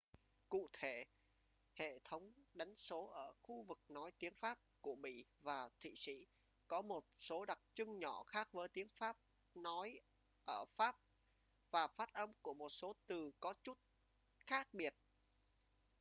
cụ thể hệ thống đánh số ở khu vực nói tiếng pháp của bỉ và thụy sĩ có một số đặc trưng nhỏ khác với tiếng pháp nói ở pháp và phát âm của một số từ có chút khác biệt